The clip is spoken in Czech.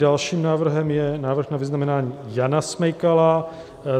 Dalším návrhem je návrh na vyznamenání Jana Smejkala